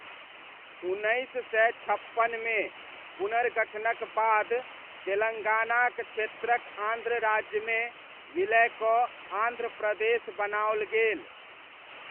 उन्नैस सय छप्पनमे पुनर्गठनक बाद तेलङ्गानाक क्षेत्रक आन्ध्र राज्यमे विलय कऽ आन्ध्र प्रदेश बनाओल गेल।